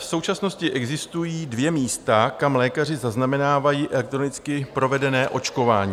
V současnosti existují dvě místa, kam lékaři zaznamenávají elektronicky provedené očkování.